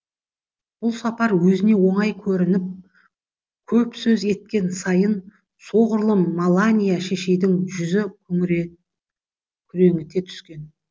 бұл сапар өзіне оңай көрініп көп сөз еткен сайын соғұрлым маланья шешейдің жүзі күреңіте түскен